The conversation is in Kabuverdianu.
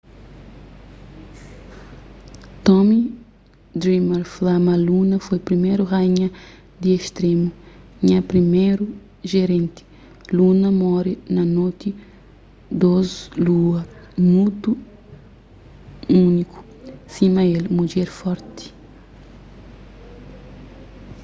tommy dreamer fla ma luna foi priméru raínha di istrému nha priméru jerenti luna móre na noti dôs lua mutu úniku sima el mudjer forti